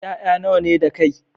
Ƴaƴa nawa ne da kai?